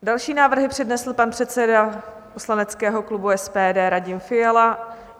Další návrhy přednesl pan předseda poslaneckého klubu SPD Radim Fiala.